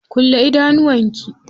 Kulle idanuwan ki.